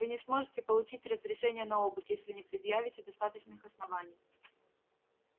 вы не сможете получить разрешения на обыск если не предъявите достаточных оснований